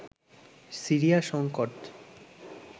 Syria সংকট